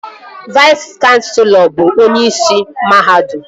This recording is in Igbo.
Vais kanselọ bụ onyeisi mahadum